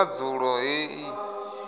hu re na dzulo heḽi